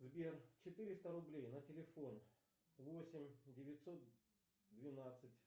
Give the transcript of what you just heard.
сбер четыреста рублей на телефон восемь девятьсот двенадцать